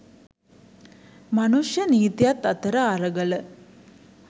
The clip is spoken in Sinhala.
මනුෂ්‍ය නීතියත් අතර අරගල